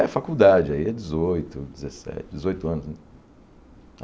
É faculdade, aí é dezoito, dezessete, dezoito anos né.